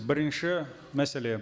бірінші мәселе